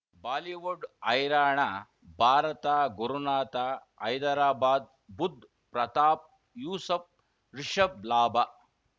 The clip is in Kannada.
ಬಾಲಿವುಡ್ ಹೈರಾಣ ಭಾರತ ಗುರುನಾಥ ಹೈದರಾಬಾದ್ ಬುಧ್ ಪ್ರತಾಪ್ ಯೂಸುಫ್ ರಿಷಬ್ ಲಾಭ